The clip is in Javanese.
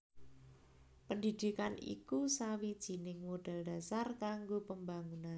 Pendidikan iku sawijining modal dhasar kanggo pembangunan